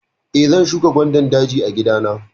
Eh, zan shuka gwandan daji a gida na.